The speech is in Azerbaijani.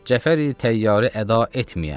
Cəfəri Təyyarəni əda etməyəm.